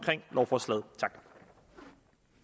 lovforslaget